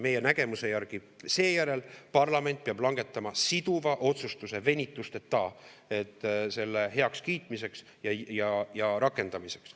Meie nägemuse järgi seejärel parlament peab langetama siduva otsustuse venitusteta selle heakskiitmiseks ja rakendamiseks.